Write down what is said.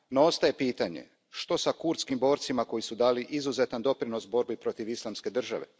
No ostaje pitanje što s kurdskim borcima koji su dali izuzetan doprinos borbi protiv Islamske države?